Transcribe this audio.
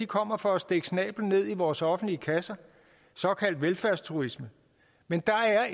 kommer for at stikke snabelen ned i vores offentlige kasser såkaldt velfærdsturisme men der er